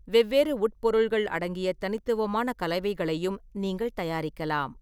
வெவ்வேறு உட்பொருள்கள் அடங்கிய தனித்துவமான கலவைகளையும் நீங்கள் தயாரிக்கலாம்.